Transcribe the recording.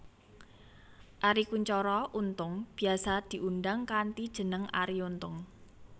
Arie Kuncoro Untung biyasa diundang kanthi jeneng Arie Untung